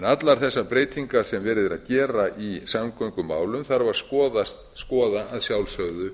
allar þessar breytingar sem verið er að gera í samgöngumálum þarf að skoða að sjálfsögðu